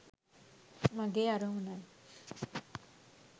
මගේ අරමුණයි.